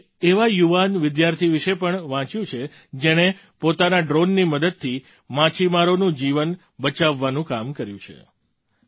મેં એક એવા યુવાન વિદ્યાર્થી વિશે પણ વાંચ્યું છે જેણે પોતાના ડ્રૉનની મદદથી માછીમારોનું જીવન બચાવવાનું કામ કર્યું છે